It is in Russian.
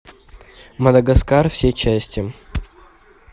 мадагаскар все части